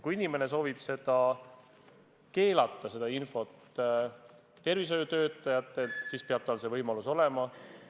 Kui inimene soovib keelata selle info avaldamise tervishoiutöötajatele, siis peab tal see võimalus olema.